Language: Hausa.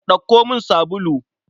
Ɗauko min sabulu.